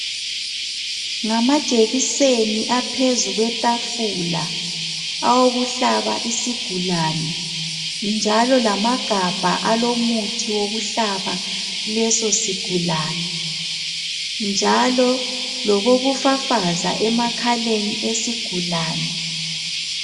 Ngamajekiseni aphezukwetafula awokuhlaba isigulani njalo lamagabha alomuthi wokuhlaba lesosigulani njalo lokokufafaza emakhaleni esigulani